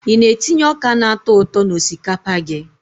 I na-etinye ọka na-atọ ụtọ n'osikapa gị?